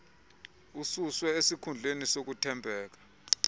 ususwe esikhundleni sokuthembeka